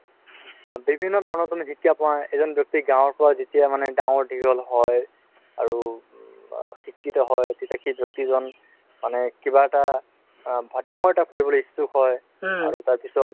বিভিন্ন ধৰণৰ তুমি শিক্ষা পাই এজন ব্যাক্তি গাওঁৰ পাই যেতিয়া মানে ডাঙৰ দিঘল হয় আৰু আ শিক্ষিত তেতিয়া সেই ব্যক্তিজন মানে কিবা এটা ডাঙৰ কৰিবলে ইচ্ছুক হয় আৰু তাৰ পিছত